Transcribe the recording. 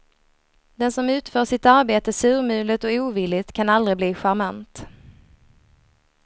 Den som utför sitt arbete surmulet och ovilligt kan aldrig bli charmant.